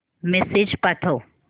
message पाठव